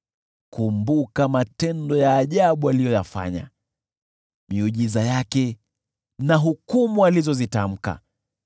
Kumbuka matendo ya ajabu aliyoyafanya, miujiza yake na hukumu alizozitamka,